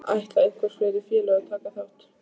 Ætla einhver fleiri félög að taka þátt?